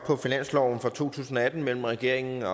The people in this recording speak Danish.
på finansloven for to tusind og atten mellem regeringen